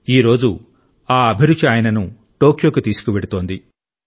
ఈ రోజు ఆ అభిరుచి ఆయనను టోక్యోకు తీసుకువెళుతోంది